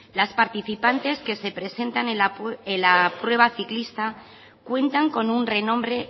las participantes que se presentan en la prueba ciclista cuentan con un renombre